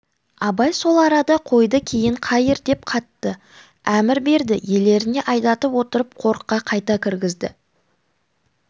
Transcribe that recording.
абай сол арада қойды кейін қайыр деп қатты әмір берді иелеріне айдатып отырып қорыққа қайта кіргізді